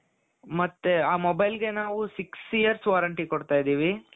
ಮತ್ತೆ ಆ mobileಗೆ ನಾವು six years warranty ಕೊಡ್ತಾ ಇದ್ದೀನಿ .